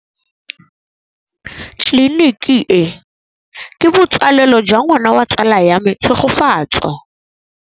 Tleliniki e, ke botsalêlô jwa ngwana wa tsala ya me Tshegofatso.